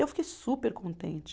Eu fiquei super contente.